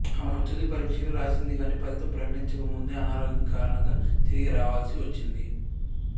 ఆమె తుది పరీక్షలు రాసింది కాని ఫలితం ప్రకటించక ముందే అనారోగ్యం కారణంగా తిరిగి రావలసి వచ్చింది